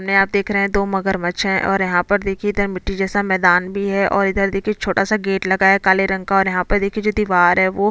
में आप देख रहे है दो मगरमच्छ है और यहाँ पर देखिये इधर मिट्टी जैसा मैदान भी है और इधर देखिये छोटा सा गेट लगा है काले रंग का और यहाँ पे देखिये जो दीवार है वो--